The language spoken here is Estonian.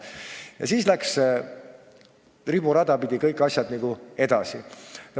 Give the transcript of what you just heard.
Ja siis läksid asjad nagu riburada pidi kõik edasi.